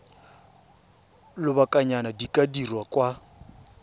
lobakanyana di ka dirwa kwa